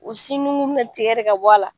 U sin nunkunni be tigɛ de ka bɔ a la.